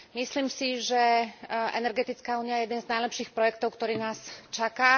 Myslím si, že energetická únia je jeden z najlepších projektov, ktorý nás čaká.